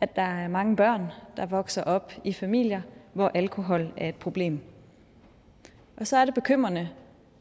at der er mange børn der vokser op i familier hvor alkohol er et problem og så er det bekymrende